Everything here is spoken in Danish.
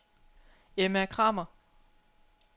Emma Kramer